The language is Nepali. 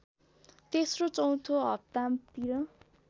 तेस्रो चौथो हप्तातिर